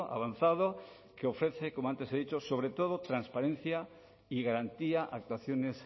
avanzado que ofrece como antes he dicho sobre todo transparencia y garantía actuaciones